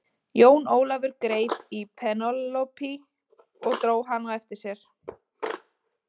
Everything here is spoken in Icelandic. Jón Ólafur greip í Penélope og dró hana á eftir sér.